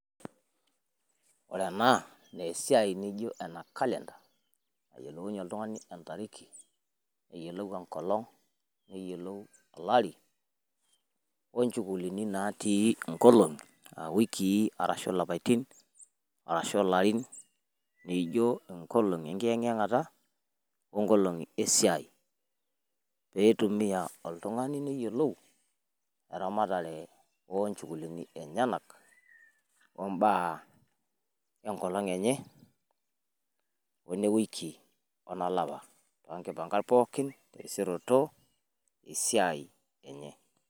woore enaa naa esiaii nijioo enee calendar nayiolounyiee oltungani entariki neyiolou enkolong neyiolou olari wolnjukulini natii nkolongi aa wikii arashu lapitinin arashu naijioo nkolongi enkiyang'yangata oonkolongi esiai peitumiaa oltungani neyiolou eramatare onjukulini enyenak ombaa enkolong enye onewiki onolapa tonkimpakat oterisioroto wesiai enye pookin